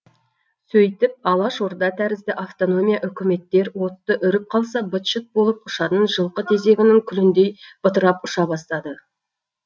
сөйтіп алашорда тәрізді автономия үкіметтер отты үріп қалса быт шыт болып ұшатын жылқы тезегінің күліндей бытырап ұша бастады